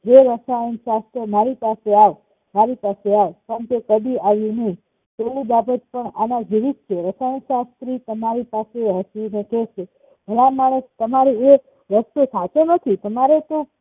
હે રસાયણશાસ્ત્ર મારી પાસે આવ મારી પાસે આવ પણ તે કદી આવ્યું નહિ તેવી બાબત પણ અને જેવીજ છે રસાયણશાસ્ત્રી તમારી પાસે હસી ને કેસે ભલા માણસ તમારો એ રસ્તો સાચો નથી તમારે તો